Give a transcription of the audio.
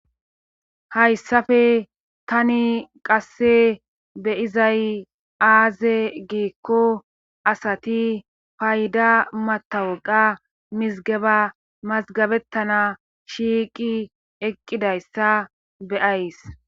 Hayssafe tani qasse beyizay aaze geekko asati payda matawaqa mizgaba mazgabettana shiiqi eqqidayssa beyays.